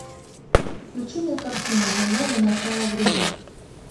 включи мне картину земля до начала времен